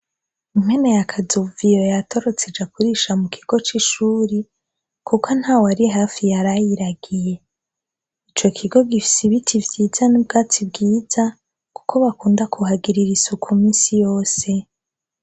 Impene ya kazoviyo yatorotse ija kurisha mukigo c’ishure kuko ntawari hafi yarayiragiye, ico kigo gifise ibiti vyiza n’ubwatsi bwiza, kuko bakunda kuhagirira isuko minsi yose.